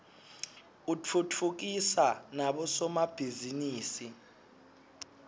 utfutfukisa nabo somabhizinisi